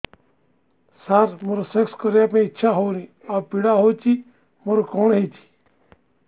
ସାର ମୋର ସେକ୍ସ କରିବା ପାଇଁ ଇଚ୍ଛା ହଉନି ଆଉ ପୀଡା ହଉଚି ମୋର କଣ ହେଇଛି